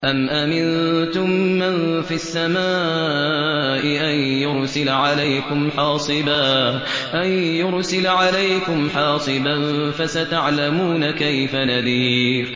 أَمْ أَمِنتُم مَّن فِي السَّمَاءِ أَن يُرْسِلَ عَلَيْكُمْ حَاصِبًا ۖ فَسَتَعْلَمُونَ كَيْفَ نَذِيرِ